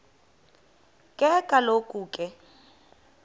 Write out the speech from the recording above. ke kaloku ke